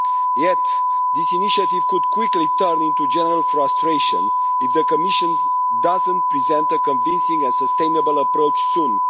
Yet this initiative could quickly turn into general frustration if the Commission does not present a convincing and sustainable approach soon.